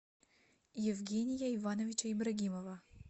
евгения ивановича ибрагимова